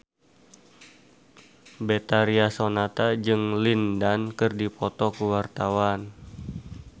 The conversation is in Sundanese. Betharia Sonata jeung Lin Dan keur dipoto ku wartawan